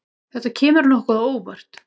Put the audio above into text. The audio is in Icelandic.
Þetta kemur nokkuð á óvart.